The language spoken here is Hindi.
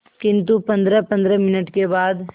किंतु पंद्रहपंद्रह मिनट के बाद